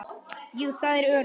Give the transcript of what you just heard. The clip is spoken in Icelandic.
Jú, það er öruggt.